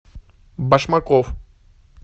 башмаков